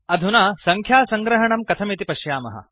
अधुना सङ्ख्यासङ्ग्रहणं कथमिति पश्यामः